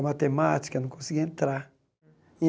A matemática eu não conseguia entrar.